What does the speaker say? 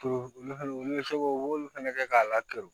olu fana olu bɛ se ko u b'olu fɛnɛ kɛ k'a laturu